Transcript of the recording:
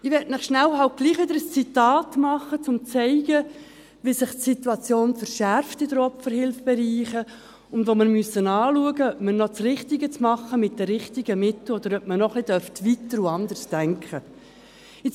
Ich möchte Ihnen schnell halt doch wieder ein Zitat machen, um zu zeigen, wie sich die Situation in den Opferhilfbereichen verschärft, und dass wir schauen müssen, ob wir noch das Richtige machen, mit den richtigen Mitteln, oder ob man noch ein wenig weiter und anders denken dürfte.